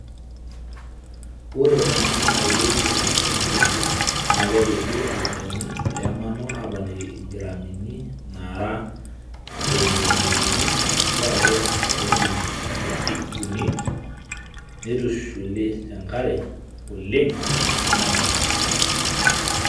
Ore ena naeelieki olchani oriong' naa kepiki olchani lemanoo aponiki ingirami naara tomoniuni atua elita oo milimitani ip uni neitushuli te nkare oleng neeku nabo.